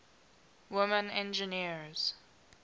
women engineers